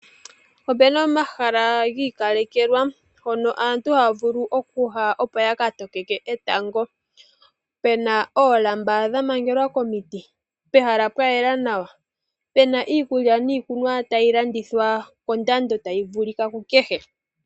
Opu na omahala gi ikalekelwa mpono aantu haa vulu okuya, opo ya ka tokeke etango. Pu na oolamba dha mangelwa komiti, pehala pwa yela nawa, pu na iikulya niikunwa tayi landithwa kondando tayi vulika kukehe.